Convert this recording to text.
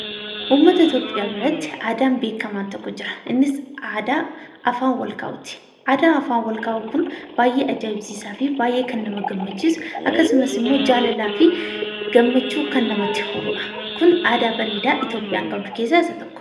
Uummata Itoophiyaa mara biratti aadaan beekamaan tokko jira. Innis aadaa afaan wal kaa'uuti. Aadaan afaan wal kaa'uu kun baay'ee ajaa'ibsaa fi baay'ee kan nama gammachiisu ,akkasummas jaalalaa fi gammachuu namatti horudha. Kun aadaa bareedaa Itoophiyaan qabdu keessaa isa tokkodha.